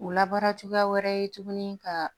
O labaara cogoya wɛrɛ ye tuguni ka